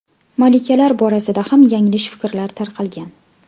Malikalar borasida ham yanglish fikrlar tarqalgan.